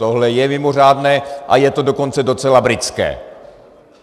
Tohle je mimořádné a je to dokonce docela britské.